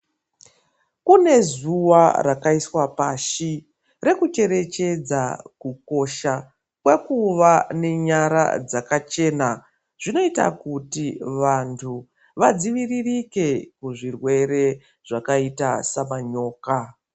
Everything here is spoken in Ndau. Kune zuwa rakaiswa pashi reku cherechedza kukosha kwekuva nenyara dzaka chena zvinoita kuti vantu vadziviririke kuzvirwere zvakaita semanyoka .